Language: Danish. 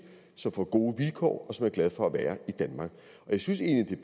som får gode vilkår og som er glade for at være i danmark jeg synes egentlig at